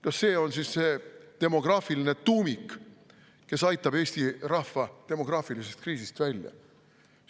Kas see on siis see demograafiline tuumik, kes aitab Eesti rahva demograafilisest kriisist välja?!